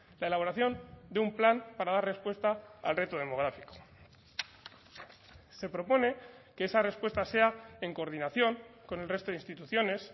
la elaboración de un plan para dar respuesta al reto demográfico se propone que esa respuesta sea en coordinación con el resto de instituciones